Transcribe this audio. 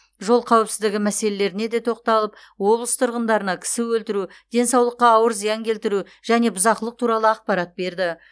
жол қауіпсіздігі мәселелеріне де тоқталып облыс тұрғындарына кісі өлтіру денсаулыққа ауыр зиян келтіру және бұзақылық туралы ақпарат берді